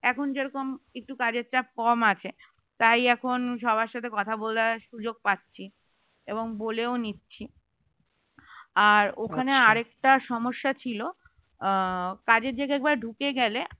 এখন যে রকম একটু কাজের চাপ কম আছে তাই এখন সবার সাথে কথা বলার সুযোগ পাছছি এবং বলেও নিচ্ছি আর ওখানে আর একটা সমস্যা ছিল কাজের জায়গায় একবার ঢুকে গেলে